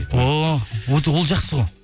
о ол жақсы ғой